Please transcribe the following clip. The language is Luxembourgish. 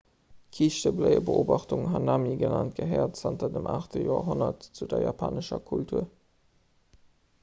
d'kiischtebléiebeobachtung hanami genannt gehéiert zanter dem 8 joerhonnert zu der japanescher kultur